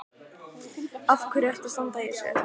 Af hverju ertu að standa í þessu?